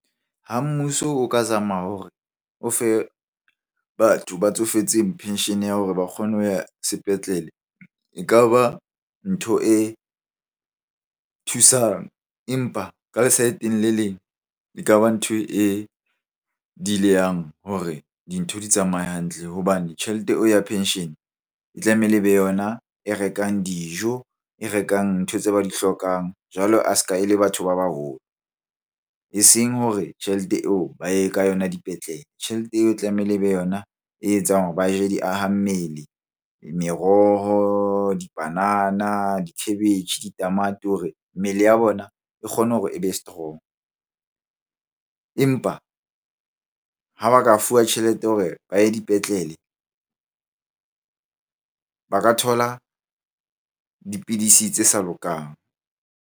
Ha mmuso o ka zama hore o fe batho ba tsofetseng pension ya hore ba kgone ho ya sepetlele, ekaba ntho e thusang. Empa ka le side-eng le leng, ekaba ntho e hore dintho di tsamaye hantle hobane tjhelete o ya penshene e tlamehile e be yona e rekang dijo, e rekang ntho tse ba di hlokang jwalo a se ka e le batho ba baholo. Eseng hore tjhelete eo ba ye ka yona dipetlele, tjhelete eo e tlamehile e be yona e etsang hore ba je di aha mmele, meroho, dipanana, dikhabetjhe, ditamati hore mmele ya bona e kgone hore e be strong. Empa ha ba ka fuwa tjhelete ya hore ba ye dipetlele ba ka thola dipidisi tse sa lokang.